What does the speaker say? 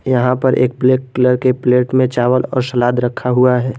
यहां पर एक ब्लैक कलर के प्लेट में चावल और सलाद रखा हुआ है।